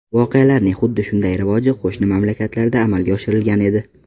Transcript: Voqealarning xuddi shunday rivoji qo‘shni mamlakatlarda amalga oshirilgan edi.